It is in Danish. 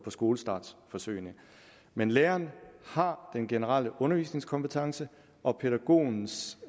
skolestartsforsøgene men læreren har den generelle undervisningskompetence og pædagogens